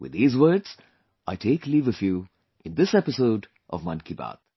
With these words, I take leave of you in this episode of 'Mann Ki Baat'